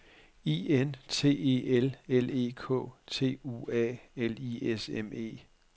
I N T E L L E K T U A L I S M E